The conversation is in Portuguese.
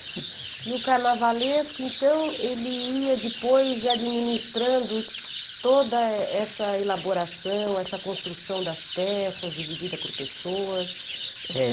E o carnavalesco, então, ele ia depois administrando toda essa elaboração, essa construção das peças, dividida por pessoas? É